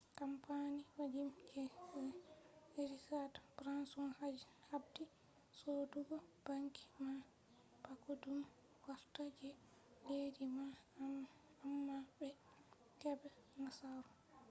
kampani vajin je richad branson habdi sodugo banki man bako ɗum wartta je leddi man amma ɓe heɓai nasaru